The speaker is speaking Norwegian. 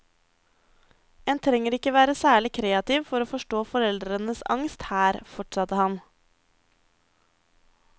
En trenger ikke være særlig kreativ for å forstå foreldrenes angst her, fortsatte han.